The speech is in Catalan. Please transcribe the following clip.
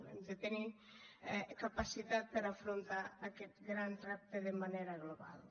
hem de tenir capacitat per afrontar aquest gran repte de manera global